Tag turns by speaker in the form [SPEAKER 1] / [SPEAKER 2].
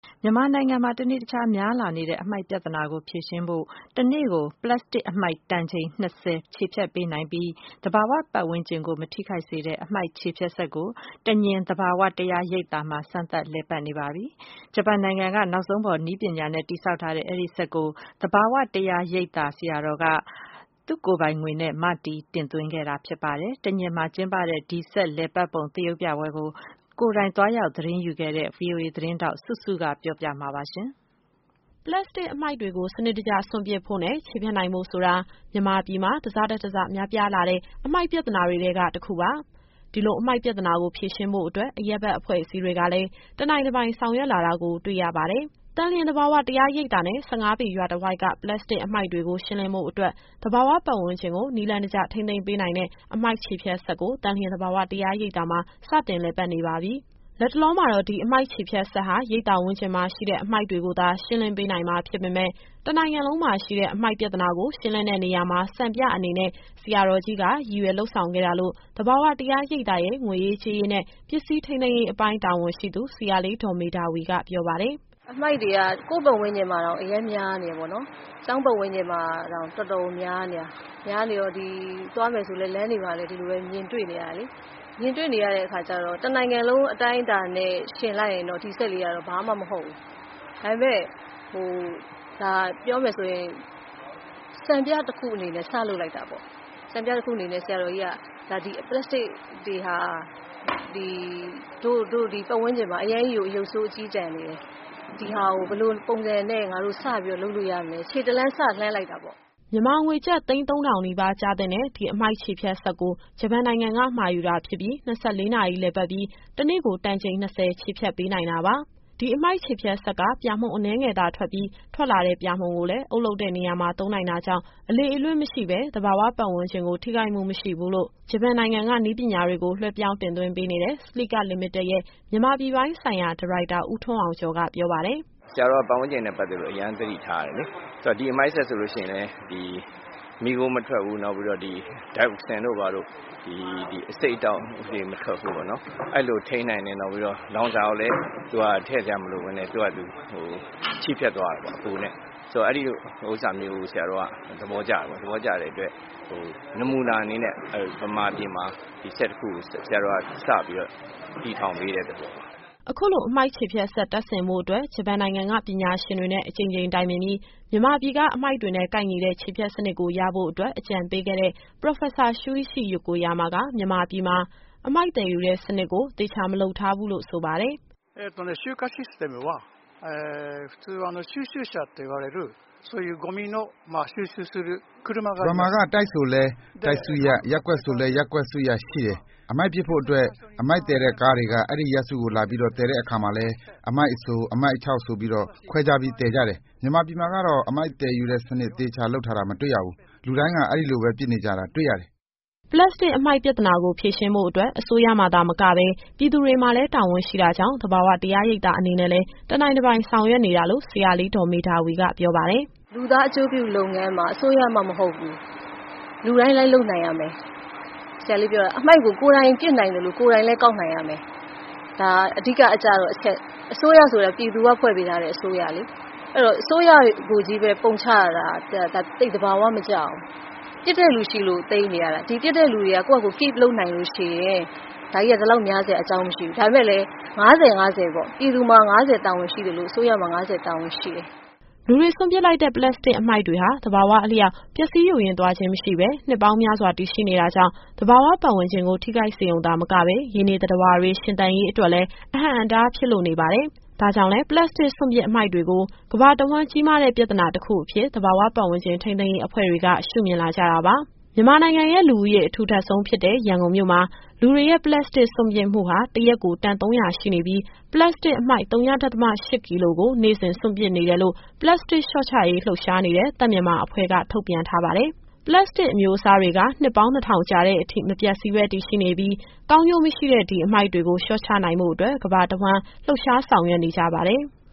[SPEAKER 1] မြန်မာနိုင်ငံမှာ တနေ့တခြား များပြားလာနေတဲ့ အမှိုက်ပြဿနာကို ဖြေရှင်းဖို့အတွက် တနေ့ကို ပလပ်စတစ်အမှိုက် ၂ တန် ချေဖျက်ပေးနိုင်ပြီး သဘာဝပတ်ဝန်းကျင်ကို မထိခိုက်စေတဲ့ အမှိုက်ချေဖျက်စက်ကို သန်လျင် သဘာဝတရားရိပ်သာမှာ စမ်းသပ်လည်ပတ်နေပါပြီ။ ဂျပန်နိုင်ငံက နောက်ဆုံးပေါ် နည်းပညာနဲ့ တည်ဆောက်ထားတဲ့ ဒီစက်ကိုတော့ သဘာဝတရားရိပ်သာ ဆရာတော်က သူ့ကိုယ်ပိုင်ငွေနဲ့ မတည် တင်သွင်းခဲ့တာ ဖြစ်ပါတယ်။ သန်လျင်မှာကျင်းပတဲ့ ဒီစက်လည်ပတ်ပုံ သရုပ်ပြပွဲကို ကိုယ်တိုင် သတင်းသွားယူခဲ့တဲ့ ဗွီအိုအေသတင်းထောက် စုစုက တင်ဆက်ပေးမှာပါ။ ပလတ်စတစ်အမှိုက်တွေကို စနစ်တကျ စွန့်ပစ်ဖို့နဲ့ ချေဖျက်နိုင်ဖို့ဆိုတာ မြန်မာပြည်မှာ တဆထက်တဆ များပြားလာတဲ့ အမှိုက်ပြဿနာတွေထဲက တခုပါ။ ဒီလိုအမှိုက်ပြဿနာကို ဖြေရှင်းဖို့အတွက် အရပ်ဘက်အဖွဲ့အစည်းတွေကလည်း တနိုင်တပိုင် ဆောင်ရွက်လာတာကို တွေ့ရပါတယ်။ သန်လျင်သဘာဝ တရားရိပ်သာနဲ့ ၁၅ပေ ရွာတဝိုက်က ပလတ်စတစ်အမှိုက်တွေကို ရှင်းလင်းဖို့အတွက် သဘာဝပတ်ဝန်းကျင်ကို နည်းလမ်းတကျ ထိန်းသိမ်းပေးနိုင်တဲ့ အမှိုက်ချေဖျက်စက်ကို သန်လျင်သဘာဝ တရားရိပ်သာမှာ စတင်လည်ပတ်နေပါပြီ။ လတ်တလောမှာတော့ ဒီအမှိုက်ချေဖျက်စက်ဟာ ရိပ်သာဝန်းကျင်မှာရှိတဲ့ အမှိုက်တွေကိုသာ ရှင်းလင်းပေးနိုင်မှာ ဖြစ်ပေမယ့် တနိုင်ငံလုံးမှာရှိတဲ့ အမှိုက်ပြဿနာကို ရှင်းလင်းတဲ့နေရာမှာ စံပြအနေနဲ့ ဆရာတော်ကြီးက ရည်ရွယ်လုပ်ဆောင်ခဲ့တာလို့ သဘာဝတရားရိပ်သာရဲ့ ငွေရေးကြေးရေးနဲ့ ပစ္စည်းထိန်းသိမ်းရေးအပိုင်း တာဝန်ရှိသူ ဆရာလေး ဒေါ်မေဓာဝီက ပြောပါတယ်။
[SPEAKER 2] “အမှိုက်တွေက ကိုယ့်ပတ်ဝန်းကျင်မှာတောင် အရမ်းများနေတယ်ပေါ့နော်။ ကျောင်းပတ်ဝန်းကျင်မှာတောင် တော်တော်ကိုများနေတာ။ များတယ်ဆိုတော့ သွားနေလာနေလည်း လမ်းတွေမှာ မြင်တွေ့နေရတယ်လေ။ မြင်တွေ့နေရတဲ့အခါကျတော့ တနိုင်ငံလုံးအတိုင်းအတာနဲ့ ယှဉ်လိုက်ရင်တော့ ဒီစက်လေးက ဘာမှမဟုတ်ဘူး။ ဒါပေမယ့် ပြောမယ်ဆိုရင် စံပြတခုအနေနဲ့ စလုပ်လိုက်တာပေါ့။ စံပြတခုအနေနဲ့ ဆရာတော်ကြီးက ဒီပလတ်စတစ်တွေဟာ တို့ပတ်ဝန်းကျင်မှာ အရမ်းကြီးကို ရုပ်ဆိုးအကျဉ်းတန်နေတယ်။ ဒါကို ငါတို့ဘယ်လိုစပြီးတော့ လုပ်လို့ရမလဲ ခြေတလှမ်း စလှမ်းလိုက်တာပေါ့။”
[SPEAKER 1] မြန်မာငွေကျပ် သိန်း ၃၀၀၀ နီးပါးကျသင့်တဲ့ ဒီအမှိုက်ချေဖျက်စက်ကို ဂျပန်နိုင်ငံက မှာယူတာဖြစ်ပြီး ၂၄ နာရီလည်ပတ်ပြီး တနေ့ကို ၂ တန် ချေဖျက်ပေးနိုင်တာပါ။ ဒီအမှိုက်ချေဖျက်စက်က ပြာမှုန် အနည်းငယ်သာထွက်ပြီး ထွက်လာတဲ့ပြာမှုန်ကိုလည်း အုပ်လုပ်တဲ့နေရာမှာ သုံးနိုင်တာကြောင့် အလေအလွင့်မရှိဘဲ သဘာဝပတ်ဝန်းကျင်ကို ထိခိုက်မှုမရှိဘူးလို့ ဂျပန်နိုင်ငံက နည်းပညာတွေကို လွှဲပြောင်း တင်သွင်းပေးနေတဲ့ Salika Limited ရဲ့ မြန်မာပြည်ပိုင်းဆိုင်ရာ ဒါရိုက်တာ ဦးထွန်းအောင်ကျော်က ပြောပါ
[SPEAKER 2] တယ်။ “ဆရာတော်က ပတ်ဝန်းကျင်နဲ့ ပတ်သက်လို့ အရမ်းသတိထားတယ်လေ။ ဆိုတော့ ဒီအမှိုက်စက်ဆိုလို့ရှိရင်လည်း မီးခိုး မထွက်ဘူး။ နောက်ပြီးတော့ Toxin တို့ဘာတို့ အဆိပ်အတောက်တွေလည်း မထွက်ဘူးပေါ့နော်။ အဲလိုထိန်းနိုင်တယ်။ နောက်ပြီးတော့ လောင်စာကိုလည်း သူကထည့်စရာမလိုဘဲ သူ့ဟာသူ ချေဖျက်သွားတာပေါ့နော်၊ အပူနဲ့။ ဆိုတော့ အဲဒီလိုဟာမျိုး ဆရာတော်က သဘောကျတယ်ပေါ့နော်။ သဘောကျတယ်ဆိုတော့ နမူနာအနေနဲ့ ဗမာပြည်မှာ ဒီစက်တခုကို ဆရာတော်က စပြီးတော့ တည်ထောင်ပေးတဲ့သဘောပါ။”
[SPEAKER 1] အခုလို အမှိုက်ချေဖျက်စက် တပ်ဆင်ဖို့အတွက် ဂျပန်နိုင်ငံက ပညာရှင်တွေနဲ့ အကြိမ်ကြိမ်တိုင်ပင်ပြီး မြန်မာပြည်က အမှိုက်တွေနဲ့ကိုက်ညီတဲ့ ချေဖျက်စနစ်ကို ရဖို့အတွက် အကြံပေးခဲ့တဲ့ ပရော်ဖက်ဆာ ရှူးအိရှိ ယိုကိုယာမာက မြန်မာပြည်မှာ အမှိုက်သယ်ယူတဲ့စနစ်ကို သေချာမလုပ်ထားဘူးလို့ ဆိုပါတယ်
[SPEAKER 2] ။ “ဂျပန်မှာက တိုက်ဆိုလည်း တိုက်စုရပ်၊ ရပ်ကွက်ဆိုလည်း ရပ်ကွက်စုရပ်ရှိတယ်။ အမှိုက်ပစ်ဖို့အတွက်။ အမှိုက်သယ်တဲ့ကားတွေက အဲဒီစုရပ်ကိုလာပြီး သယ်တဲ့အခါမှာလည်း အမှိုက်အစို၊ အခြောက်ဆိုပြီး ခွဲခြားပြီးသယ်တယ်။ မြန်မာပြည်မှာကတော့ အမှိုက်သယ်ယူတဲ့စနစ် သေချာလုပ်ထားတာ မတွေ့ရဘူး။ လူတိုင်းက ဒီလိုပဲပစ်နေကြတာ တွေ့ရတယ်။
[SPEAKER 1] ” ပလတ်စတစ်အမှိုက်ပြဿနာကို ဖြေရှင်းဖို့အတွက် အစိုးရမှာသာမကပဲ ပြည်သူတွေမှာလည်း တာဝန်ရှိတာကြောင့် သဘာဝတရားရိပ်သာ အနေနဲ့လည်း တနိုင်တပိုင် ဆောင်ရွက်နေတာလို့ ဆရာလေး ဒေါ်မေဓာဝီက ပြောပါတယ်။
[SPEAKER 2] “လူသားအကျိုးပြုလုပ်ငန်းမှာ အစိုးရမှ မဟုတ်ဘူး။ လူတိုင်းလိုက်လုပ်နိုင်ရမယ်။ ဆရာလေးပြောတာ အမှိုက်ကို ကိုယ်တိုင်ပစ်နိုင်သလို ကိုယ်တိုင်လည်း ကောက်နိုင်ရမယ်။ ဒါအဓိကကျတဲ့အချက်။ အစိုးရဆိုတာ ပြည်သူကဖွဲ့ပေးထားတဲ့ အစိုးရလေ။ အဲတော့ အစိုးရကိုချည်းပဲ ပုံချရတာ သိပ်သဘာဝ မကျဘူး။ ပစ်တဲ့လူရှိလို့ သိမ်းနေရတာ။ ဒီပစ်တဲ့သူတွေက ကိုယ့်ဟာကိုယ် keep လုပ်နိုင်လို့ရှိရင် ဒါကြီးက ဒီလောက်များစရာ အကြောင်းမရှိဘူး။ ဒါပေမယ့်လည်း ၅၀၊ ၅၀ ပေါ့။ ပြည်သူမှာ ၅၀ တာဝန်ရှိသလို အစိုးရမှာ ၅၀ တာဝန်ရှိတယ်။
[SPEAKER 1] ” လူတွေစွန့်ပစ်လိုက်တဲ့ ပလတ်စတစ်အမှိုက်တွေဟာ သဘာဝအလျောက် ပျက်ဆီး ယိုယွင်းသွားခြင်း မရှိဘဲ နှစ်ပေါင်းများစွာ တည်ရှိနေတာကြောင့် သဘာဝပတ်ဝန်းကျင်ကို ထိခိုက်စေရုံသာမကပဲ ရေနေသတ္တဝါတွေ ရှင်သန်ရေးအတွက်လည်း အဟန့်အတားဖြစ်လို့ နေပါတယ်။ ဒါကြောင့်လည်း ပလပ်စတစ် စွန့်ပစ်အမှိုက်တွေကို ကမ္ဘာတဝှမ်း ကြီးမားတဲ့ပြဿနာကြီးတခုအဖြစ် သဘာဝပတ်ဝန်းကျင် ထိန်းသိမ်းရေးအဖွဲ့တွေက ရှုမြင်လာကြတာပါ။ မြန်မာနိုင်ငံရဲ့ လူဦးရေအထူထပ်ဆုံးဖြစ်တဲ့ ရန်ကုန်မြို့မှာ လူတွေရဲ့ပလတ်စတစ် စွန့်ပစ်မှုဟာ တရက်ကို တန် ၃၀၀ ရှိနေပြီး၊ ပလတ်စတစ်အမှိုက် ဝ.၈ ကီလိုကို နေ့စဉ်စွန့်ပစ်နေတယ်လို့ ပလတ်စတစ်လျှော့ချရေး လှုပ်ရှားနေတဲ့ သန့်မြန်မာအဖွဲ့က ထုတ်ပြန်ထားပါတယ်။ ပလတ်စတစ်အမျိုးအစားတွေက နှစ်ပေါင်း ၂၀၀၀ ကြာတဲ့အထိ မပျက်စီးဘဲ တည်ရှိနေပြီး၊ ကောင်းကျိုးမရှိတဲ့ ဒီအမှိုက်တွေကို လျှော့ချနိုင်ဖို့အတွက် ကမ္ဘာတဝှမ်း လှုပ်ရှားဆောင်ရွက်နေကြပါတယ်။